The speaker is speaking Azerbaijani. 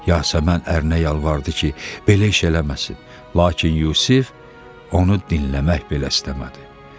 Yasəmən ərinə yalvardı ki, belə iş eləməsin, lakin Yusif onu dinləmək belə istəmədi.